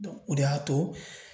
o de y'a to